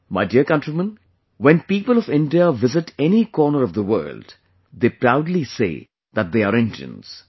My dear countrymen, when people of India visit any corner of the world, they proudly say that they are Indians